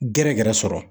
Gɛrɛ gɛrɛ sɔrɔ